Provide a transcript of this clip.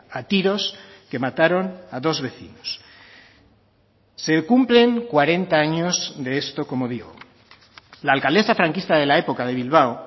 a tiros que mataron a dos vecinos se cumplen cuarenta años de esto como digo la alcaldesa franquista de la época de bilbao